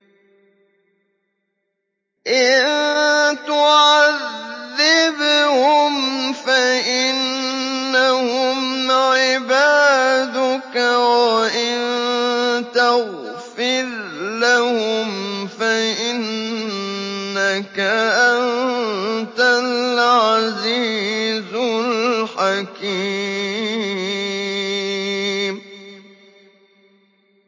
إِن تُعَذِّبْهُمْ فَإِنَّهُمْ عِبَادُكَ ۖ وَإِن تَغْفِرْ لَهُمْ فَإِنَّكَ أَنتَ الْعَزِيزُ الْحَكِيمُ